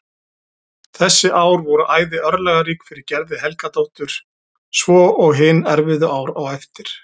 Þessi ár voru æði örlagarík fyrir Gerði Helgadóttur svo og hin erfiðu ár á eftir.